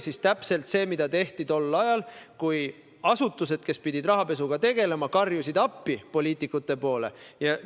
See oli täpselt see, mida tehti ajal, kui asutused, kes pidid rahapesuga tegelema, karjusid poliitikute poole vaadates appi.